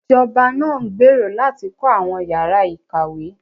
Ìjọba náà ń gbèrò láti kọ́ àwọn ìyára ìkàwé